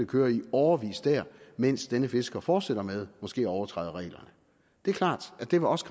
køre i årevis der mens denne fisker fortsætter med måske at overtræde reglerne det er klart at det også